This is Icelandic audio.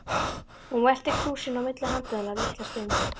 Hún velti krúsinni á milli handanna litla stund.